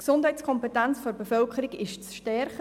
Die Gesundheitskompetenz der Bevölkerung ist zu stärken.